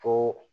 Ko